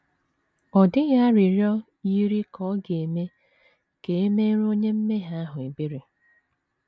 Ọ dịghị arịrịọ yiri ka ọ ga - eme ka e meere onye mmehie ahụ ebere.